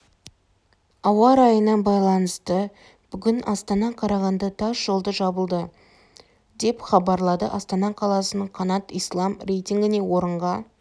ауа райына байланысты бүгін астана-қарағанды тас жолды жабылды деп хабарлады астана қаласының қанат ислам рейтингінде орынға